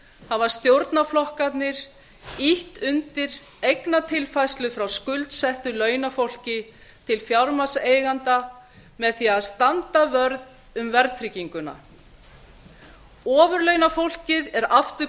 hafa stjórnarflokkarnir ýtt undir eignatilfærslu frá skuldsettu launafólki til fjármagnseigenda með því að standa vörð um verðtrygginguna ofurlaunafólkið er aftur